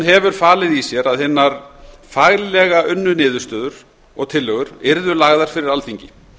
hefur falið í sér að hinar faglega unnu niðurstöður og tillögur yrðu lagðar fyrir alþingi